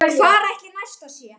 Hvar ætli Nesta sé?